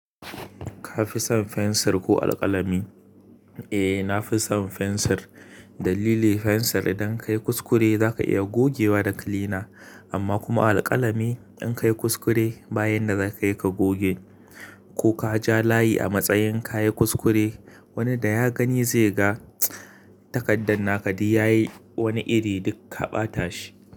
Ka fi son fensir ko alkalami? Eh, na fi son fensir. Dalili fensir idan ka yi kuskure za ka iya gogewa da kilina amma kuma alkalami in ka yi kuskure bayan da za ka yi ka goge ko ka ja layi a matsayin ka yi kuskure wani da ya gani zai ga takardar naka duk da yayi wani iri duk ka ɓata shi.